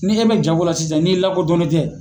Ni i bɛ jangola sisan ni i lakɔdɔnnen tɛ